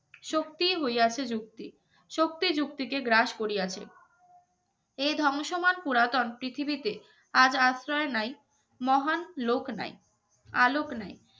সত্যি হইয়াছে যুক্তি শক্তি যুক্তিকে গ্রাস করিয়াছে এ ধ্বংসমান পুরাতন পৃথিবীতে আজ আশ্রয় নাই মহান লোক নাই আলোক নাই